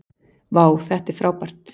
vá þetta er frábært